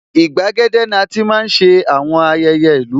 Igbàgede ni ati máa ń ṣe àwọn ayẹyẹ ìlú